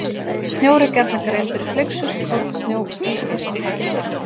Snjór er gjarnan greindur í flyksur, kornsnjó, ískorn og hagl.